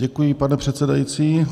Děkuji, pane předsedající.